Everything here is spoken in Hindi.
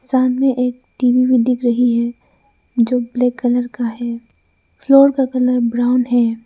सामने एक एक टी_वी भी दिख रही है जो ब्लैक कलर का है फ्लोर का कलर ब्राउन है।